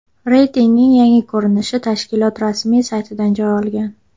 Reytingning yangi ko‘rinishi tashkilot rasmiy saytidan joy olgan .